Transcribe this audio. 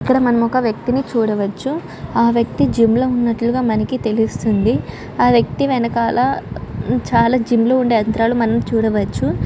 ఇక్కడ మనం ఒక వేక్తిని చూడవచ్చు. ఆ వేక్తి జిం లో ఉన్నటు మనకి తెలుస్తుంది. ఆ వ్య్కతి వెనకాల చాల జిం లో ఉండే యంత్రాలు మనం చూడవచ్చు.